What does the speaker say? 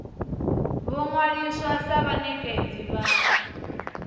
vho ṅwaliswa sa vhanekedzi vha